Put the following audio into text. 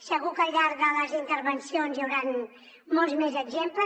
segur que al llarg de les intervencions hi hauran molts més exemples